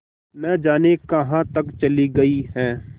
न जाने कहाँ तक चली गई हैं